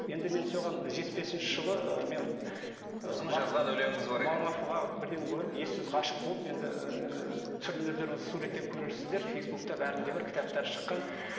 енді мен соған жетпіс бесінші жылы ыыы мен марфуға бірден көріп ессіз ғашық болып енді ыыы түрін өздеріңіз суреттен көрересіздер фейсбукта бәрінде бар кітаптары шыққан